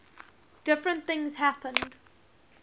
different things happened